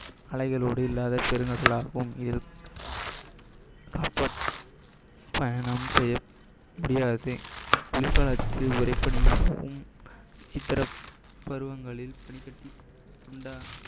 அலைகளோடு இல்லாத பெருங்கடலாகவும் இருக்கும் செய்யாதே வெயில் காலத்தில் உரை பண்ணியாகவும் இதர பருவங்களில் பனி கட்டி உண்டா~